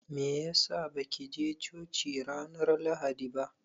Meyasa ba kije coci ranar Lahadi ba?